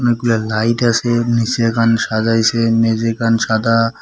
অনেকগুলা লাইট আসে নীসেখান সাজাইসে মেঝেখান সাদা।